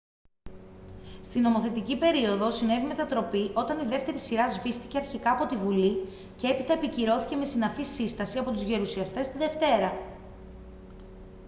στη νομοθετική περίοδο συνέβη μετατροπή όταν η δεύτερη σειρά σβήστηκε αρχικά από τη bουλή και έπειτα επικυρώθηκε με συναφή σύσταση από τους γερουσιαστές τη δευτέρα